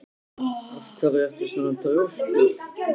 Af hverju ertu svona þrjóskur, Neró?